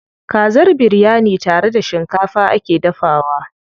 Kazar biryani tare da shikafa ake dafawa.